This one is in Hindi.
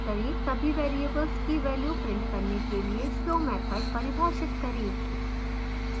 सभी variables की values print करने के लिए show मैथड परिभाषित करें